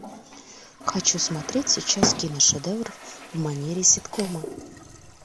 хочу смотреть сейчас киношедевр в манере ситкома